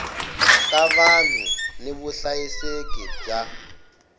ta vanhu ni vuhlayiseki bya